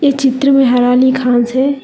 चित्र में हराली घास है।